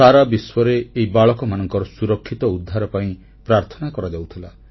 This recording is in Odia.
ସାରା ବିଶ୍ୱରେ ଏହି ବାଳକମାନଙ୍କର ସୁରକ୍ଷିତ ଉଦ୍ଧାର ପାଇଁ ପ୍ରାର୍ଥନା କରାଯାଉଥିଲା